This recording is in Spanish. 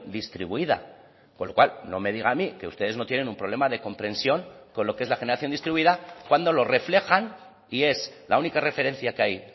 distribuida con lo cual no me diga a mí que ustedes no tienen un problema de comprensión con lo que es la generación distribuida cuando lo reflejan y es la única referencia que hay